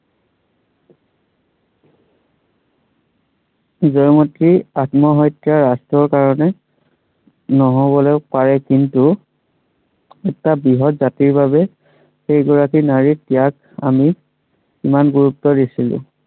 জয়মতীৰ আত্মহত্য়া ৰাষ্ট্ৰ্ৰৰ কাৰনে নহবলে পাৰে কিন্তু এটা বৃহৎ জাতিৰ বাবে সেই গৰাকী নাৰীৰ ত্য়াগ আমি, ইমান গুৰুত্ব দিছিলো।